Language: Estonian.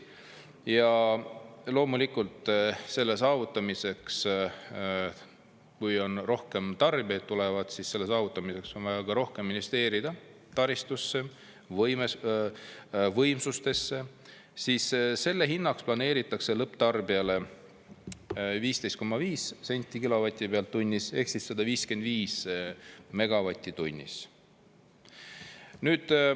Ja loomulikult selle saavutamiseks, kui on rohkem tarbijaid, tulevad, siis selle saavutamiseks on vaja rohkem investeerida taristusse, võimsustesse, siis selle hinnaks planeeritakse lõpptarbijale 15,5 senti kilovati pealt tunnis ehk 155 megavatti tunnis.